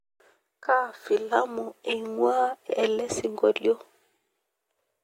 kaa filamu ingwaa elesingolio